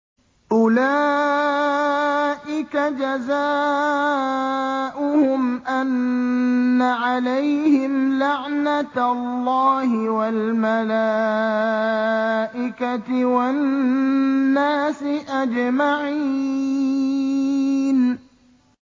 أُولَٰئِكَ جَزَاؤُهُمْ أَنَّ عَلَيْهِمْ لَعْنَةَ اللَّهِ وَالْمَلَائِكَةِ وَالنَّاسِ أَجْمَعِينَ